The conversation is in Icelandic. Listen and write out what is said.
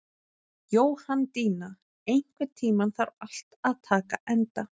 Jóhanndína, einhvern tímann þarf allt að taka enda.